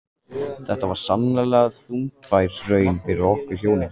Þetta var sannarlega þungbær raun fyrir okkur hjónin.